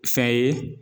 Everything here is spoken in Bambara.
Fɛn ye